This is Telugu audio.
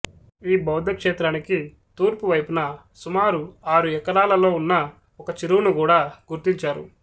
ఈ బౌద్ధక్షేత్రానికి తూర్పువైపున సుమారు ఆరు ఎకరాలలో ఉన్న ఒక చెరువును గూడా గుర్తించారు